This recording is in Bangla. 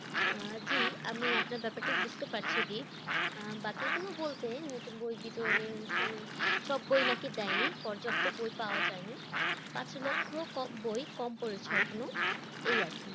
আহ জি আমি আপনার ব্যাপারটি বুঝতে পারছি দীপ, আহ বাকিগুলো বলতে নতুন বই বিতরণের অনুষ্ঠানে সব বই নাকি দেয়নি, পর্যাপ্ত বই পাওয়া যায়নি, পাঁচলক্ষ কম, বই কম পড়েছে এখনো এই আর কি